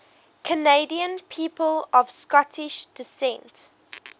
canadian people of scottish descent